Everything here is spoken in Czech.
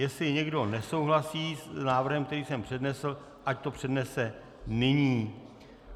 Jestli někdo nesouhlasí s návrhem, který jsem přednesl, ať to přednese nyní.